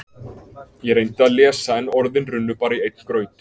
Ég reyndi að lesa en orðin runnu bara í einn graut.